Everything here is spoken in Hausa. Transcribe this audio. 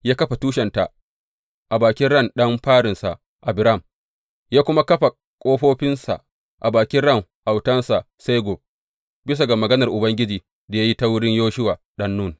Ya kafa tushensa a bakin ran ɗan farinsa Abiram, ya kuma kafa ƙofofinsa a bakin ran autansa Segub, bisa ga maganar Ubangiji da ya yi ta wurin Yoshuwa ɗan Nun.